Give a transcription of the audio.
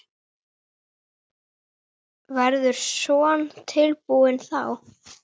Verður Son tilbúinn þá?